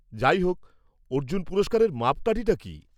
-যাইহোক, অর্জুন পুরস্কারের মাপকাঠি কী?